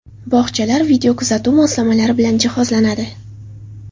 Bog‘chalar videokuzatuv moslamalari bilan jihozlanadi.